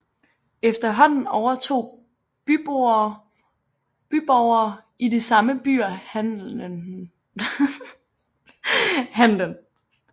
Efterhånden overtog byborgere i de samme byer handelen